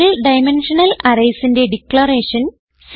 single dimensional arrays ന്റെ declaration